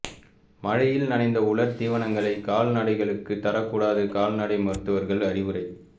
மழையில் நனைந்த உலர் தீவனங்களை கால்நடைகளுக்கு தரக்கூடாது கால்நடை மருத்துவர்கள் அறிவுரை